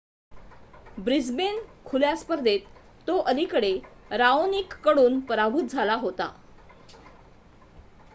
Brisbane खुल्या स्पर्धेत तो अलिकडे राओनिककडून पराभूत झाला होता